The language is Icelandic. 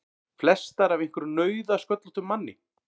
Flestar af einhverjum nauðasköllóttum manni!